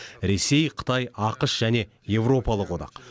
ресей қытай ақш және еуропалық одақ